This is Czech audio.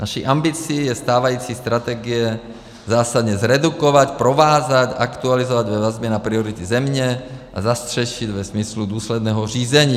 Naší ambicí je stávající strategie zásadně zredukovat, provázat, aktualizovat ve vazbě na priority země a zastřešit ve smyslu důsledného řízení.